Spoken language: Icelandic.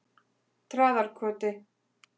Traðarkoti